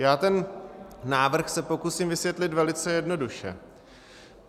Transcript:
Já ten návrh se pokusím vysvětlit velice jednoduše.